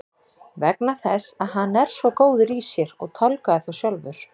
Vegna þess að hann er svo góður í sér og tálgaði þá sjálfur.